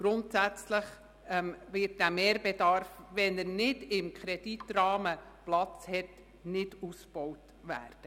Grundsätzlich wird der Mehrbedarf, sollte er nicht im Kreditrahmen Platz finden, nicht ausgebaut werden.